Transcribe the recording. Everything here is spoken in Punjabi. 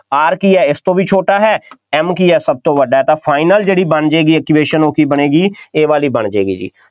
R ਕੀ ਹੈ ਇਸ ਤੋਂ ਵੀ ਛੋਟਾ ਹੈ M ਕੀ ਹੈ, ਸਭ ਤੋਂ ਵੱਡਾ ਹੈ ਤਾਂ final ਜਿਹੜੀ ਬਣ ਜਾਏਗੀ equation ਉਹ ਕੀ ਬਣੇਗੀ, ਇਹ ਵਾਲੀ ਬਣ ਜਾਏਗੀ ਜੀ,